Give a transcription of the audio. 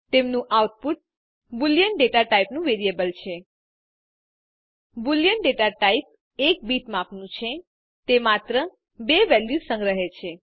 તેમનું output Boolean data ટાઇપનું variable છે બુલિયન ડેટા ટાઇપ 1 બીટ માપનું છે તે માત્ર બે વેલ્યુઝ સંગ્રહે છે